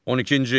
On ikinci.